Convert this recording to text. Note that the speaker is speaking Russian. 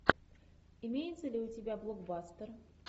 имеется ли у тебя блокбастер